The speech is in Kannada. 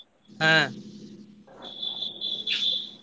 ಹ್ಮ್ .